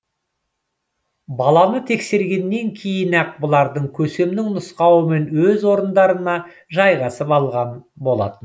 баланы тексергеннен кейін ақ бұлар көсемнің нұсқауымен өз орындарына жайғасып алған болатын